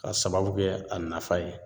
K'a sababu kɛ a nafa ye